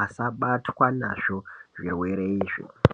asabatwa nazvo zvirwere izvi.